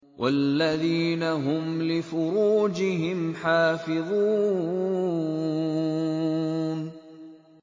وَالَّذِينَ هُمْ لِفُرُوجِهِمْ حَافِظُونَ